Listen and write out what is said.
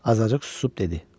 Azacıq susub dedi.